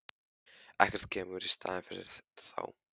Ekkert kemur í staðinn fyrir þá.